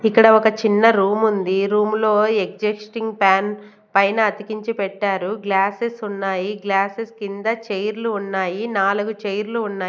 ఇక్కడ ఒక చిన్న రూముంది ఈ రూము లో ఎగ్జిస్టింగ్ ఫ్యాన్ పైన అతికించి పెట్టారు గ్లాసెస్ ఉన్నాయి గ్లాసెస్ కింద చైర్లు ఉన్నాయి నాలుగు చైర్లు ఉన్నాయ్.